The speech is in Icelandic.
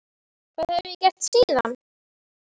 Þetta hef ég gert síðan.